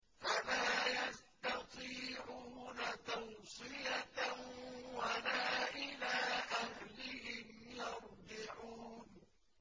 فَلَا يَسْتَطِيعُونَ تَوْصِيَةً وَلَا إِلَىٰ أَهْلِهِمْ يَرْجِعُونَ